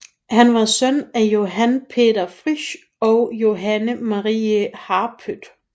Han var søn af Johan Peter Frich og Johanne Marie Harpøth